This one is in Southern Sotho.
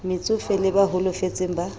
metsofe le ba holofetseng ba